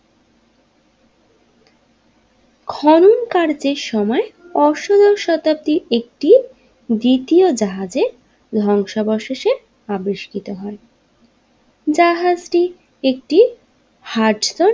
খনন কার্যের সময় অসহ শতাব্দীর একটি দ্বিতীয় জাহাজে ধ্বংসাবশেষে আবিষ্কৃত হয় জাহাজ টি একটি হাজরা।